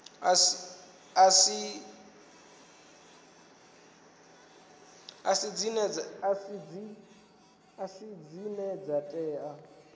a si dzine dza tea